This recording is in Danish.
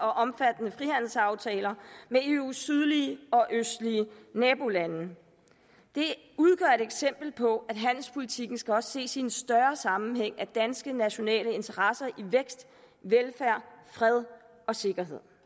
og omfattende frihandelsaftaler med eus sydlige og østlige nabolande det udgør et eksempel på at handelspolitikken også skal ses i en større sammenhæng med danske nationale interesser i vækst velfærd fred og sikkerhed